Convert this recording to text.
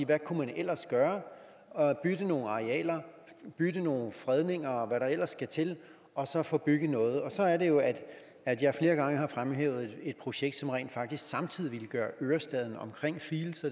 hvad kunne man ellers gøre bytte nogle arealer bytte nogle fredninger og hvad der ellers skal til og så få bygget noget og så er det jo at jeg flere gange har fremhævet et projekt som rent faktisk samtidig ville gøre ørestaden omkring fields